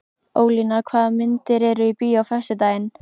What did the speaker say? Ólína, hvaða myndir eru í bíó á föstudaginn?